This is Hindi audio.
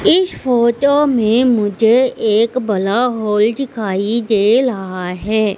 इस फोटो में मुझे एक बला हॉल दिखाई दे रहा है।